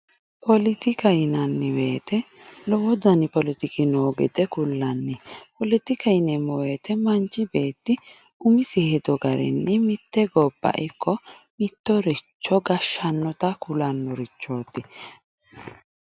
Poletika yinanni woyiite lowo dani poletiki noo gede kullanni, poletika yineemmo woyiite manchi beetti umisi hedo garinni mitte gobba ikko mittoricho gashshannota kulannorichooti.